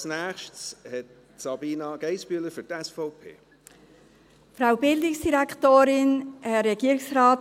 Als Nächstes hat Sabina Geissbühler für die SVP das Wort.